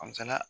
An me se ka